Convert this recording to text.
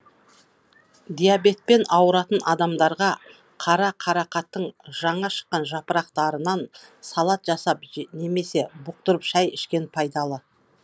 диабетпен ауыратын адамдарға қара қарақаттың жаңа шыққан жапырақтарынан салат жасап немесе бұқтырып шай ішкен пайдалы